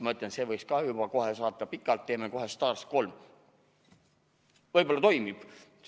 Ma ütlen, et selle võiks ka kohe saata pikalt, teeme kohe STAR 3, võib-olla toimib.